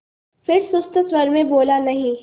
फिर सुस्त स्वर में बोला नहीं